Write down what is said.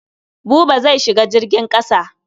Buba zai shiga jirgin ƙasa.